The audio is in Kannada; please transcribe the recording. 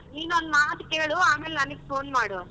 ಹಾ ನೀನ್ ಒಂದ್ ಮಾತ್ ಕೇಳು ಅಮೇಲ್ ನನಗ್ phone ಮಾಡು.